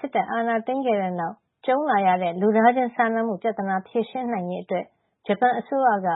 စစ်တပ်အာဏာသိမ်းခဲ့တဲ့နောက် ကြုံလာရတဲ့ လူသားချင်းစာနာမှု ပြဿနာ ဖြေရှင်းနိုင်ရေးအတွက် ဂျပန်အစိုးရက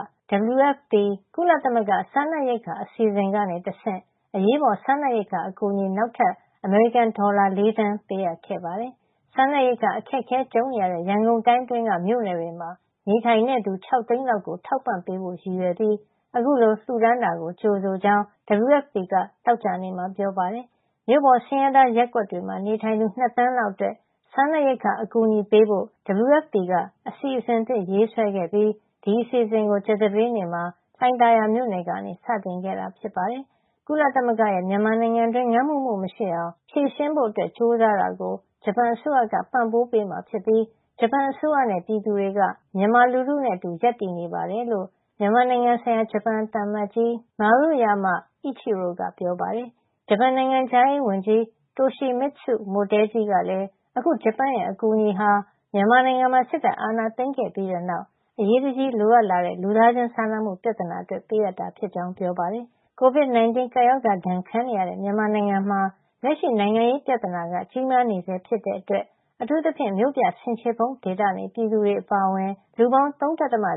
WFP ကုလသမဂ္ဂ စားနပ်ရိက္ခာ အစီအစဉ်ကနေတဆင့် အရေးပေါ် စားနပ်ရိက္ခာ အကူအညီ နောက်ထပ် အမေရိကန်ဒေါ်လာ ၄ သန်း ပေးအပ်ခဲ့ပါတယ်။ စားနပ်ရိက္ခာအခက်အခဲ ကြုံနေရတဲ့ ရန်ကုန်တိုင်းအတွင်းက မြို့နယ်တွေမှာ နေထိုင်သူ ၆ သိန်းလောက်ကို ထောက်ပံ့ပေးဖို့ ရည်ရွယ်ပြီး အခုလို လှူဒါန်းတာကို ကြိုဆိုကြောင်း WFP က သောကြာနေ့မှာ ပြောပါတယ်။ မြို့ပေါ် ဆင်းရဲသားရပ်ကွက်တွေမှာ နေထိုင်သူ ၂ သန်းလောက်အတွက် စားနပ်ရိက္ခာ အကူအညီပေးဖို့ WFP က အစီအစဉ်သစ်ဆွဲခဲ့ပြီး ဒီအစီအစဉ်ကို ကြာသပတေးနေ့မှာ လှိုင်သာယာမြို့နယ်ကနေ စတင်ခဲ့တာ ဖြစ်ပါတယ်။ ကုလသမဂ္ဂရဲ့ မြန်မာနိုင်ငံတွင်း ငတ်မွတ်မှုမရှိအောင် ဖြေရှင်းဖို့ ကြိုးစားတာကို ဂျပန်အစိုးရက ပံ့ပိုးပေးမှာဖြစ်ပြီး ဂျပန်အစိုးရနဲ့ ပြည်သူတွေက မြန်မာလူထုနဲ့အတူ ရပ်တည်နေပါတယ်လို့ မြန်မာနိုင်ငံဆိုင်ရာ ဂျပန်သံအမတ်ကြီး Maruyama Ichiro က ပြောပါတယ်။ ဂျပန်နိုင်ငံခြားရေးဝန်ကြီး Toshimitsu Motegi ကလည်း အခု ဂျပန်ရဲ့ အကူအညီဟာ မြန်မာနိုင်ငံမှာ စစ်တပ်အာဏာသိမ်းပြီးတဲ့နောက် အရေးတကြီး လိုအပ်လာတဲ့ လူသားချင်းစာနာမှု ပြဿနာအတွက် ပေးအပ်တာဖြစ်ကြောင်း ပြောပါတယ်။ COVID-19 ကပ်ရောဂါဒဏ် ခံနေရတဲ့ မြန်မာနိုင်ငံမှာ လက်ရှိ နိုင်ငံရေးပြဿနာကလည်း ကြီးမားနေဆဲ ဖြစ်တဲ့အတွက် အထူးသဖြင့် မြို့ပြဆင်ခြေဖုံး ဒေသနေ ပြည်သူတွေ အပါအဝင် လူပေါင်း ၃.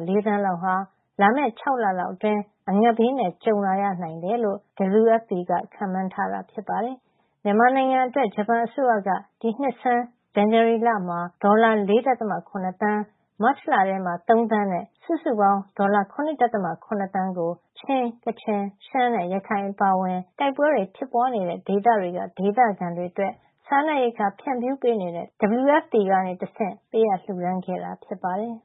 ၄ သန်းလောက်ဟာ လာမယ့် ၆ လလောက်အတွင်း အငတ်ဘေးနဲ့ ကြုံလာရနိုင်တယ်လို့ ခန့်မှန်းထားတာ ဖြစ်ပါတယ်။ မြန်မာနိုင်ငံအတွက် ဂျပန်အစိုးရက ဒီနှစ်ဆန်း ဇန်နဝါရီလမှာ ဒေါ်လာ ၄.၇ သန်း၊ မတ်လထဲမှာ ၃ သန်းနဲ့ စုစုပေါင်း ဒေါ်လာ ၇.၇ သန်းကို ချင်း၊ ကချင်၊ ရှမ်းနဲ့ ရခိုင်အပါအဝင် တိုက်ပွဲဖြစ်ပွားနေတဲ့ ဒေသတွေက ဒေသခံတွေအတွက် စားနပ်ရိက္ခာ ဖြန့်ဖြူးပေးနေတဲ့ WFP ကနေတဆင့် ပေးလှူခဲ့တာ ဖြစ်ပါတယ်။